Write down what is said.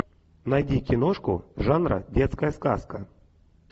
найди киношку жанра детская сказка